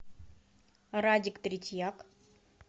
радик третьяк